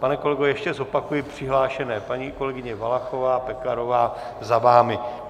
Pane kolego, ještě zopakuji přihlášené: paní kolegyně Valachová, Pekarová za vámi.